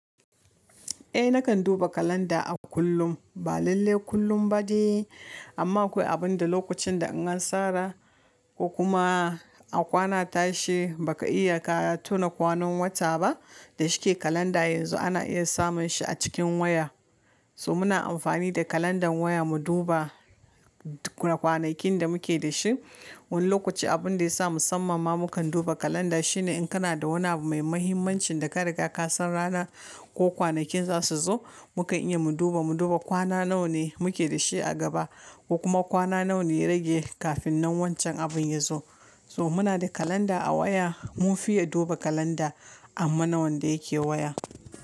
Eh nakan duba kalanda a kullum ba lalle kullum ba dai, amma akwai abin da lokacin da in an tsara ko kuma a kwana a tashi baka iya ka tuna kwanan wata ba da shike kalanda yanzu ana iya samun shi a cikin waya. To muna amfani da kalandar waya mu duba kwanakin da muke da shi. Wani lokaci abin da ya sa musamman ma mukan duba kalanda shine in kana da wani abu mai muhimmancin da ka riga ka san ranar ko kwanakin zasu zo mukan iya mu duba mu duba kwana nawa ne muke da shi a gaba, ko kuma kwana nawa ne ya rage kafin nan wancan abin ya zo. To muna da kalanda a waya, mun fiye duba kalanda amman wanda yake waya.